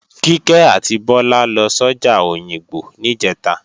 Kíkẹ́ àti Bọ́lá lọ sọ́jà Òyìngbò níjẹ̀ta